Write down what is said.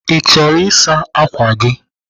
Ị chọrọ ịsa ákwà gị?